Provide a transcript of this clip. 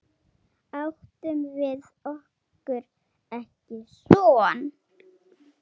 Áttum við okkur ekki son?